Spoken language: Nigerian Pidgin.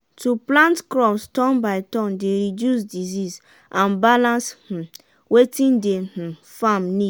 we dey pack dry leaf and anima shit for one place take make manure.